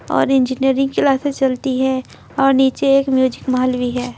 और engineering classes चलती हैंऔर नीचे एक म्यूजिक महल भी है।